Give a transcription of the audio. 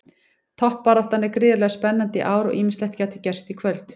Toppbaráttan er gríðarlega spennandi í ár og ýmislegt gæti gerst í kvöld.